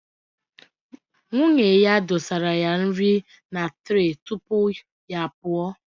Nwunye ya dosara ya nri na tre tupu ya pụọ